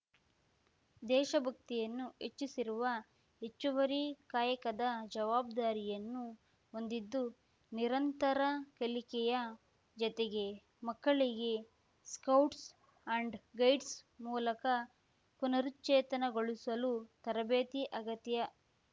ದೇಶಭಕ್ತಿಯನ್ನು ಹೆಚ್ಚಿಸಿರುವ ಹೆಚ್ಚುವರಿ ಕಾಯಕದ ಜವಾಬ್ದಾರಿಯನ್ನು ಹೊಂದಿದ್ದು ನಿರಂತರ ಕಲಿಕೆಯ ಜತೆಗೆ ಮಕ್ಕಳಿಗೆ ಸ್ಕೌಟ್ಸ್‌ ಅಂಡ್‌ ಗೈಡ್ಸ್‌ ಮೂಲಕ ಪುನರುಚ್ಚೇತನಗೊಳಿಸಲು ತರಬೇತಿ ಅಗತ್ಯ